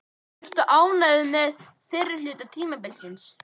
Ertu ánægður með fyrri hluta tímabilsins?